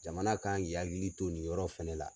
Jamana kan k'i hakili to nin yɔrɔ fɛnɛ la.